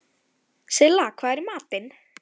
Silla, hvað er í matinn?